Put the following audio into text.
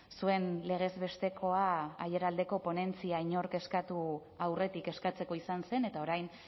zuen legez bestekoa aiaraldeko ponentzia inork eskatu aurretik eskatzeko izan zen eta orain